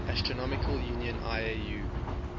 astronomical union iau